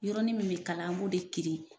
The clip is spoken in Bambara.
Yɔrɔnin min bi kalan an b'o de kirin